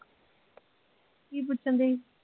ਕੀ ਪੁੱਛਣ ਦਈ